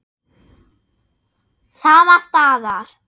Sama staðar.